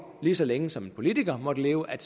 lige så længe som en politiker måtte leve at